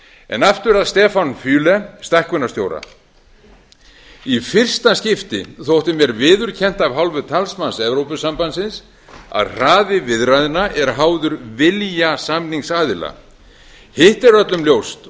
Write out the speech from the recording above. en aftur að stefan füle stækkunarstjóra í fyrsta skipti þótti mér viðurkennt af hálfu talsmanns evrópusambandsins að hraði viðræðna er háður vilja samningsaðila hitt er öllum ljóst